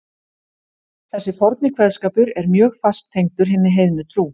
Þessi forni kveðskapur er mjög fast tengdur hinni heiðnu trú.